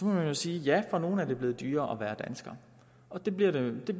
man sige ja for nogle er det blevet dyrere at være dansker og det bliver det